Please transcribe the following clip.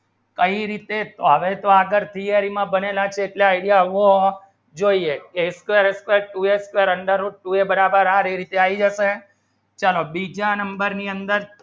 કઈ રીતે આગળ theory માં બનેલા કેટલા idea હો જોઈએ a square a square two a square under root two a બરાબર આઠ થયી અસે ચલો બીજા number ની અંદર